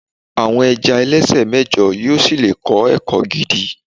àwọn ẹja ẹlẹsẹ mẹjọ yíò sí le kọ ẹkọ gidi